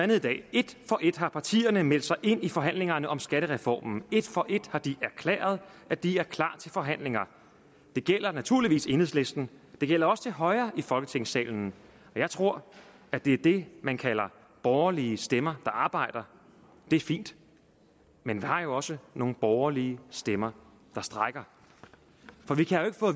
et for et har partierne meldt sig ind i forhandlingerne om skattereformen et for et har de erklæret at de er klar til forhandlinger det gælder naturligvis enhedslisten det gælder også til højre i folketingssalen jeg tror at det er det man kalder borgerlige stemmer der arbejder det er fint men vi har jo også nogle borgerlige stemmer der strejker